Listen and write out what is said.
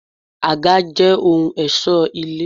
Àga jẹ́ ohun ẹ̀ṣọ́ ilé.